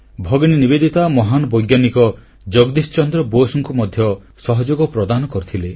ଭଗିନୀ ନିବେଦିତା ମହାନ୍ ବୈଜ୍ଞାନିକ ଜଗଦୀଶ ଚନ୍ଦ୍ର ବୋଷଙ୍କୁ ମଧ୍ୟ ସହଯୋଗ ପ୍ରଦାନ କରିଥିଲେ